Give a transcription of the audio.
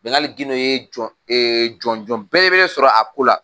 Bɛngali Gindo ye jɔnjɔn belebele sɔrɔ a ko la.